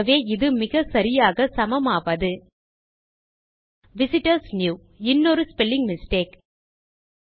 ஆகவே இது மிகச்சரியாக சமமாவது விசிட்டர்ஸ் நியூ இன்னொரு ஸ்பெல்லிங் மிஸ்டேக்